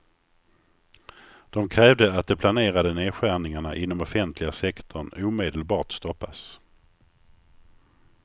De krävde att de planerade nedskärningarna inom offentliga sektorn omedelbart stoppas.